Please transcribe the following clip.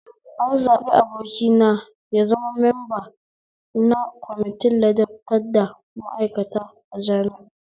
An zaɓi abokina ya zama memba na kwamitin ladabtar da ma'aikata a jami'a